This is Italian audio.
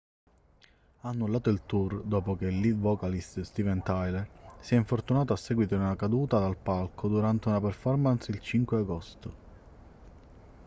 ha annullato il tour dopo che il lead vocalist steven tyler si è infortunato a seguito di una caduta dal palco durante una performance il 5 agosto